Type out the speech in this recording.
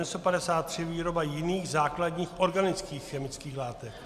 N152 - výroba jiných základních anorganických chemických látek.